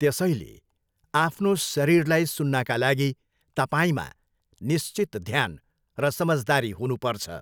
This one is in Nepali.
त्यसैले आफ्नो शरीरलाई सुन्नाका लागि तपाईँमा निश्चित ध्यान र समझदारी हुनुपर्छ।